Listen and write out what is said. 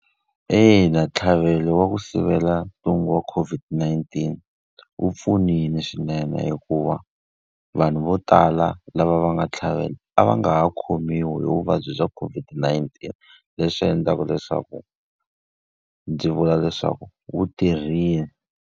Eya ntlhavelo wa ku sivela ntungu wa COVID-19 wu pfunile swinene hikuva vanhu vo tala lava va nga tlhavela, a va nga ha khomiwi hi vuvabyi bya COVID-19 leswi endlaka leswaku ndzi vula leswaku wu tirhile.